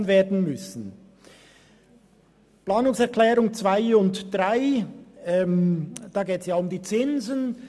Bei den Planungserklärungen 2 und 3 geht es um die Zinsen.